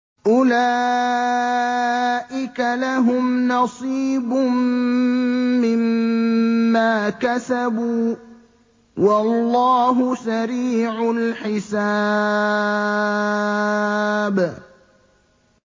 أُولَٰئِكَ لَهُمْ نَصِيبٌ مِّمَّا كَسَبُوا ۚ وَاللَّهُ سَرِيعُ الْحِسَابِ